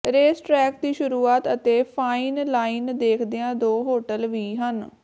race track ਦੀ ਸ਼ੁਰੂਆਤ ਅਤੇ ਫਾਈਨ ਲਾਈਨ ਦੇਖਦਿਆਂ ਦੋ ਹੋਟਲ ਵੀ ਹਨ